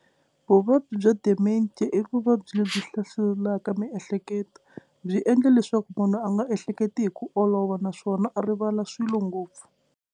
Vuvabyi bya dementia i vuvabyi lebyi hlaselaka miehleketo. Byi endla leswaku munhu a nga ehleketi hi ku olova naswona a rivala swilo ngopfu.